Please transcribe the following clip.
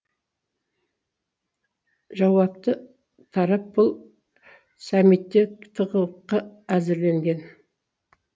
жауапты тарап бұл саммитке тығылыққа әзірленген